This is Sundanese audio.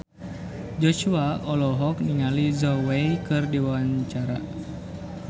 Joshua olohok ningali Zhao Wei keur diwawancara